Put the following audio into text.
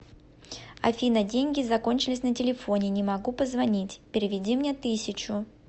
афина деньги закончились на телефоне не могу позвонить переведи мне тысячу